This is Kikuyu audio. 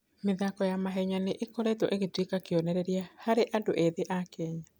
mĩthako ya mahenya nĩ ĩkoretwo ĩgĩtuĩka kĩonereria harĩ andũ ethĩ a Kenya.